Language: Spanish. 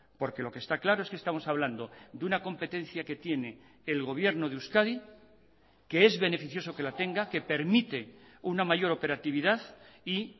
porque lo que está claro es que estamos hablando de una competencia que tiene el gobierno de euskadi que es beneficioso que la tenga que permite una mayor operatividad y